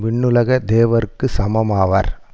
விண்ணுலகத் தேவர்க்கு சமமாவர்